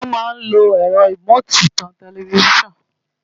Wọ́n mà lo ẹ̀rọ rìmóòtì tan tẹlifíṣọ́ọ̀nù